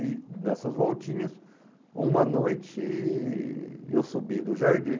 E nessas voltinhas, uma noite eu subi no jardim.